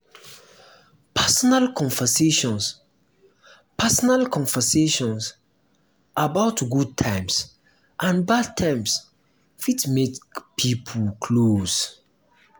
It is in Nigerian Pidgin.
personal conversations personal conversations about good times and bad times fit make pipo close